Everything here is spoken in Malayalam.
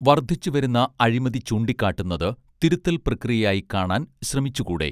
വർധിച്ചുവരുന്ന അഴിമതി ചൂണ്ടിക്കാട്ടുന്നത് തിരുത്തൽ പ്രക്രിയയായി കാണാൻ ശ്രമിച്ചു കൂടേ